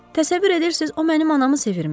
Təsəvvür edirsiz, o mənim anamı sevirmiş.